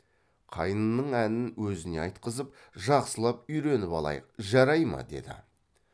қайнының әнін өзіне айтқызып жақсылап үйреніп алайық жарай ма деді